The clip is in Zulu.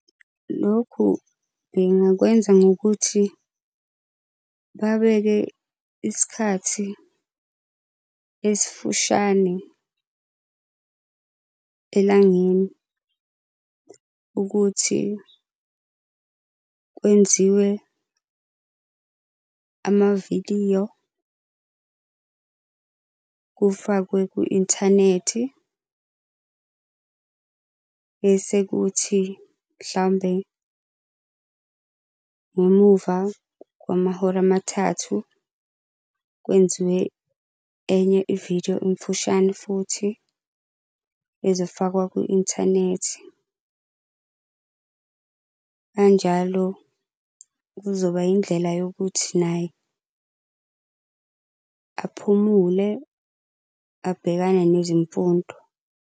Lokhu bengakwenza ngokuthi babeke isikhathi esifushane elangeni ukuthi kwenziwe amavidiyo kufakwe ku-inthanethi. Bese kuthi mhlambe ngemuva kwamahora amathathu kwenziwe enye ividiyo emfushane futhi ezofakwa kwi-inthanethi. Kanjalo kuzoba indlela yokuthi naye aphumule abhekane nezimfundo.